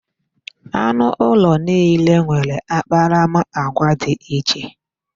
Anụ ulo niile nwere akparamagwa dị iche.